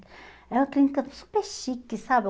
Era uma clínica super chique, sabe?